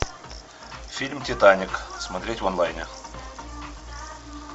фильм титаник смотреть в онлайне